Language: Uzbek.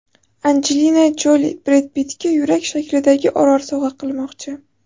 Anjelina Joli Bred Pittga yurak shaklidagi orol sovg‘a qilmoqchi.